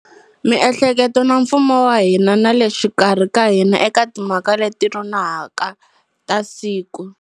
Miehleketo na mfumo wa hina na le xikarhi ka hina eka timhaka leti nonohaka ta siku.